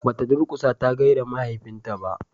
ba ta durkusa ta gaida mahaifin ta ba